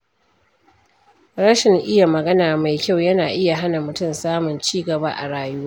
Rashin iya magana mai kyau yana iya hana mutum samun ci gaba a rayuwa.